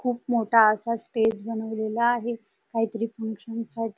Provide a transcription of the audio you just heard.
खूप मोठा असा स्टेज बनवलेला आहे काहीतरी फंक्शन सा --